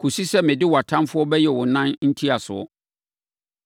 kɔsi sɛ mede wʼatamfoɔ bɛyɛ wo nan ntiasoɔ.” ’